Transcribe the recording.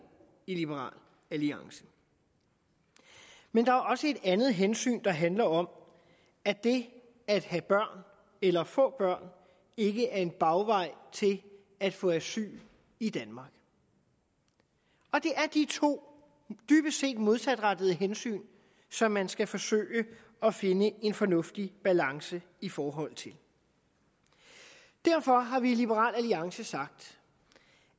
i liberal alliance men der er også et andet hensyn der handler om at det at have børn eller få børn ikke er en bagvej til at få asyl i danmark og det er de to dybest set modsatrettede hensyn som man skal forsøge at finde en fornuftig balance i forhold til derfor har vi i liberal alliance sagt